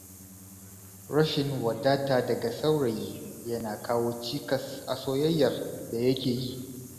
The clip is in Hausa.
Rashin wadata daga saurayi, yana kawo cikas a soyayyar da yake yi.